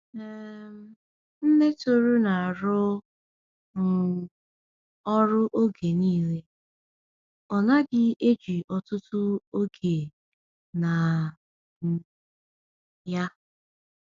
um Nne Tohru na-arụ um ọrụ oge niile, ọ naghị eji ọtụtụ oge na um ya.